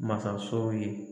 Masa sow ye.